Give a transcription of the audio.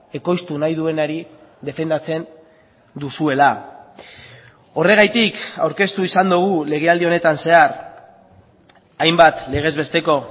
ekoiztu nahi duenari defendatzen duzuela horregatik aurkeztu izan dugu lege aldi honetan zehar hainbat legez besteko